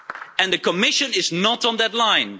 And the Commission is not on that line.